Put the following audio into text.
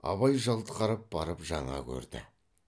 абай жалт қарап барып жаңа көрді